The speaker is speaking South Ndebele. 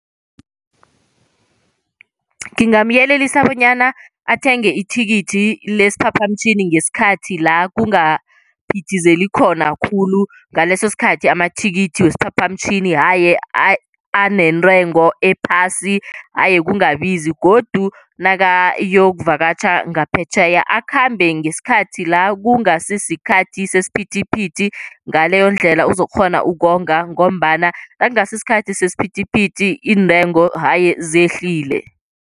Ngingamyelelisa bonyana athenge ithikithi lesiphaphamtjhini ngesikhathi la kungaphithizeli khona khulu. Ngaleso sikhathi amathikithi wesiphaphamtjhini haye anentengo ephasi, haye kungabiza godu nakayokuvakatjha ngaphetjheya akhambe ngesikhathi la kungasi sikhathi sesiphithithi, ngaleyo ndlela uzokukghona ukonga ngombana nakungasi isikhathi siphithiphithi intengo haye zehlile.